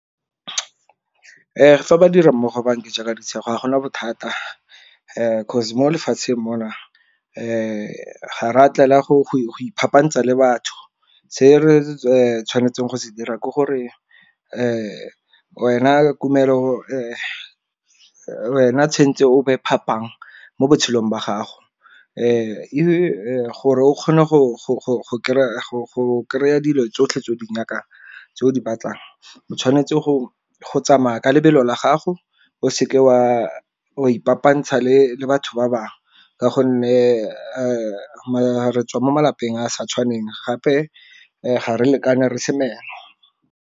Fa ba dirammogo ba nja ka ditshego ga gona bothata, 'cause mo lefatsheng mona ga ra tlela go iphapantsa le batho. Se re tshwanetseng go se dira ke gore wena wena tshwentse o be phapang mo botshelong jwa gago, gore o kgone go kry-a dilo tsotlhe tseo di nyakang tse o di batlang. O tshwanetse go tsamaya ka lebelo la gago o seke wa ipapantsha le batho ba bangwe, ka gonne re tswa mo malapeng a sa tshwaneng gape ga re lekane re se meno.